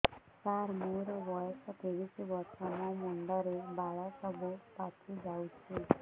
ସାର ମୋର ବୟସ ପଚିଶି ବର୍ଷ ମୋ ମୁଣ୍ଡରେ ବାଳ ସବୁ ପାଚି ଯାଉଛି